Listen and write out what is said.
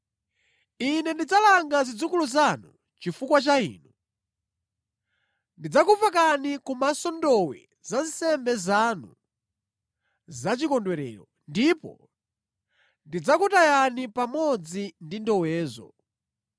“Ine ndidzalanga zidzukulu zanu chifukwa cha inu; ndidzakupakani kumaso ndowe za nsembe zanu zachikondwerero, ndipo ndidzakutayani pamodzi ndi ndowezo.”